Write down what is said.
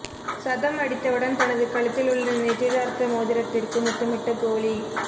சதம் அடித்தவுடன் தனது கழுத்தில் உள்ள நிச்சயதார்த்த மோதிரத்திற்கு முத்தமிட்ட கோலி